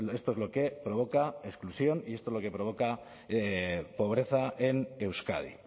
esto es lo que provoca exclusión y esto es lo que provoca pobreza en euskadi